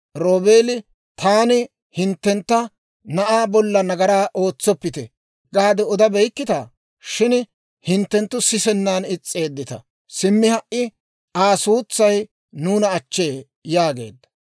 Roobeeli, «Taani hinttentta, ‹Na'aa bolla nagaraa ootsoppite› gaade odabeykkitaa? Shin hinttenttu sisennan is's'eeddita. Simmi ha"i, Aa suutsay nuuna achchee» yaageedda.